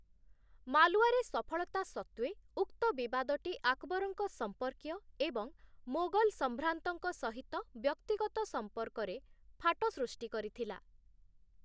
ମାଲ୍‌ୱାରେ ସଫଳତା ସତ୍ତ୍ୱେ, ଉକ୍ତ ବିବାଦଟି ଆକବରଙ୍କ ସମ୍ପର୍କୀୟ ଏବଂ ମୋଗଲ ସମ୍ଭ୍ରାନ୍ତଙ୍କ ସହିତ ବ୍ୟକ୍ତିଗତ ସମ୍ପର୍କରେ ଫାଟ ସୃଷ୍ଟି କରିଥିଲା ।